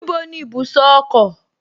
Níbo ni ibùsọ̀ ọkọ̀?